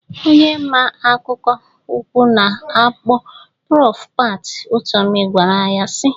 Onye maa akwụkwọ ukwuu a na-akpọ Prọf Pat Utomi gwara ya sị.